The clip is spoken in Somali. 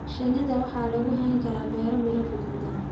Shinnida waxaa lagu hayn karaa beero miro guduudan.